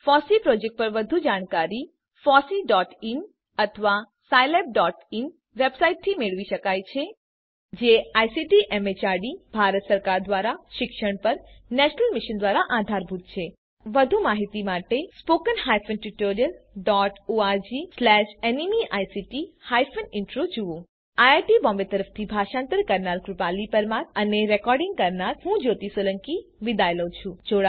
FOSSEE project પર વધુ માહિતી httpfosseein અથવા 1 માંથી મેળવી શકાય છે જે આઇસીટી એમએચઆરડી ભારત સરકાર દ્વારા શિક્ષણ પર નેશનલ મિશન ધ્વારા આધારભૂત છે વધુ માહિતી માટે httpspoken tutorialorgNMEICT Intro જુઓ આઈઆઈટી બોમ્બે તરફથી ભાષાંતર કરનાર હું કૃપાલી પરમાર વિદાય લઉં છું